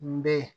N bɛ yen